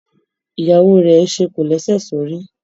Ìyàwó rẹ̀ ṣe kòlẹ́sẹ̀ sórí.